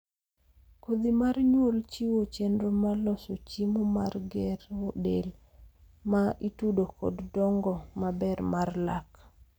kodhi mar nyuol chiwo chenro mar loso chiemo mar gero del ma ma itudo kod dongo maber mar lak